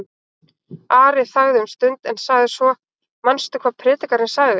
Ari þagði um stund en sagði svo: Manstu hvað Predikarinn segir?